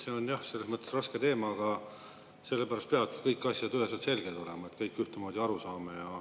See on jah selles mõttes raske teema, aga sellepärast peavad kõik asjad üheselt selged olema, et kõik ühtemoodi aru saame.